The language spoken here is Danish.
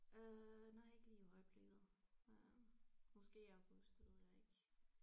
Øh nej ikke lige i øjeblikket øh måske i august det ved jeg ikke